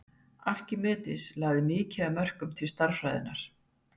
Arkímedes lagði mikið að mörkum til stærðfræðinnar.